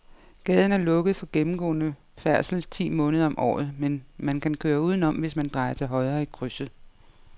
Gaden er lukket for gennemgående færdsel ti måneder om året, men man kan køre udenom, hvis man drejer til højre i krydset.